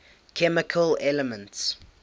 chemical elements